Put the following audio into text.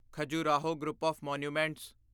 Khajuraho group of monuments